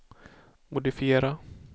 modifiera